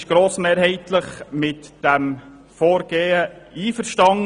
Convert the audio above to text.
Die BaK ist grossmehrheitlich mit dem Vorgehen einverstanden.